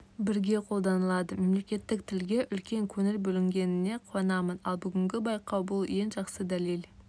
бірге қолданылады мемлекеттік тілге үлкен көңіл бөлінгеніне қуанамын ал бүгінгі байқау бұл ең жақсы дәлел